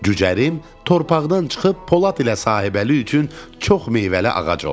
Cücərim, torpaqdan çıxıb Polad ilə Sahibəli üçün çox meyvəli ağac olum.